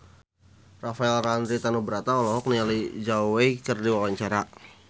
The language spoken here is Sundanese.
Rafael Landry Tanubrata olohok ningali Zhao Wei keur diwawancara